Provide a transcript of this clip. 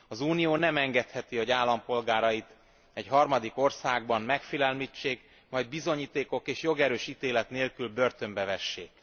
Az Unió nem engedheti, hogy állampolgárait egy harmadik országban megfélemlítsék, majd bizonyítékok és jogerős ítélet nélkül börtönbe vessék.